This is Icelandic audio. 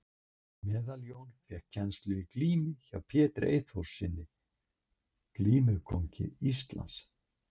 Meðaljón fékk kennslu í glímu hjá Pétri Eyþórssyni glímukóngi Íslands.